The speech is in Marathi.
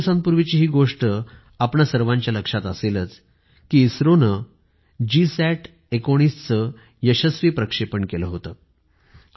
काही दिवसांपूर्वीची हि गोष्ट आपणा सर्वांच्या लक्षात असेल इसरोने GSAT19 चे यशस्वी प्रक्षेपण केलं होतं